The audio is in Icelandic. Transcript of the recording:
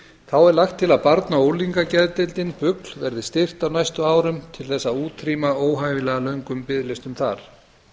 þá er lagt til að barna og unglingageðdeildin bugl verði styrkt á næstu árum til að útrýma óhæfilega löngum biðlistum þar